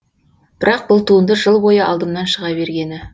бірақ бұл туынды жыл бойы алдымнан шыға бергені